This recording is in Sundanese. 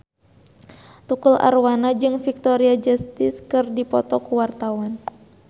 Tukul Arwana jeung Victoria Justice keur dipoto ku wartawan